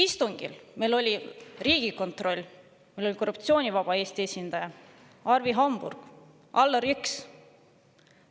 Istungil oli kohal Riigikontroll, oli Korruptsioonivaba Eesti esindaja, olid Arvi Hamburg ja Allar Jõks.